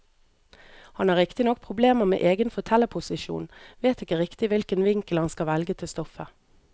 Han har riktignok problemer med egen fortellerposisjon, vet ikke riktig hvilken vinkel han skal velge til stoffet.